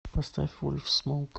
поставь вольфсмоук